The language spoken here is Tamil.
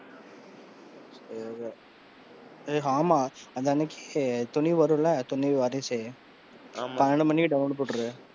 சரி. ஹே, ஆமா next துணிவு வரும்ல, துணிவு, வாரிசு ஆமா பன்னிரண்டு மணிக்கே டவுன்லோட் போட்று,